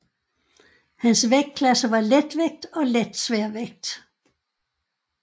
Hans vægtklasser var letvægt og letsværvægt